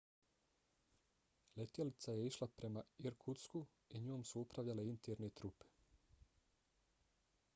letjelica je išla prema irkutsku i njom su upravljale interne trupe